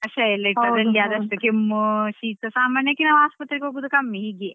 ಹೌದು ನನ್ನ ಮಕ್ಕಳಿಗೂಸ ಹಾಗೆ ಕಷಾಯ ಎಲ್ಲ ಇಟ್ಟು ಅದ್ರಲ್ಲೇ ಆದಷ್ಟು ಕೆಮ್ಮು ಶೀತ ಸಾಮಾನ್ಯಕ್ಕೆ ನಾವು ಆಸ್ಪತ್ರೆಗ್ ಹೋಗುದು ಕಮ್ಮಿ.